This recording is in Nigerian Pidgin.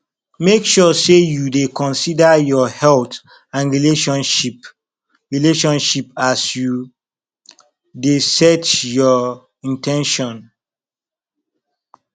make sure say you de consider your health and relationship relationship as you de set your in ten tions